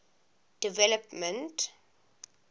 development